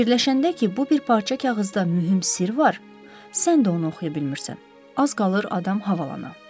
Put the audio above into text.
Fikirləşəndə ki, bu bir parça kağızda mühüm sirr var, sən də onu oxuya bilmirsən, az qalır adam havalana.